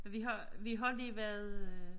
Vi har vi har lige været øh